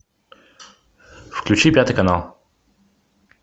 включи пятый канал